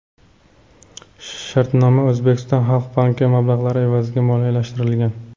Shartnoma O‘zbekiston Xalq Banki mablag‘lari evaziga moliyalashtirilgan.